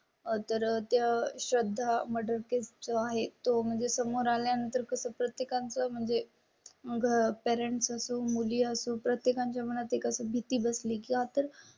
तर त्या श्रद्धा मर्डर केसचा आहे तो म्हणजे समोर आल्या नंतर कसं प्रत्येकांत म्हणजे घर परंतु मुली असून प्रत्येका च्या मनात एकच भीती बस ली की आता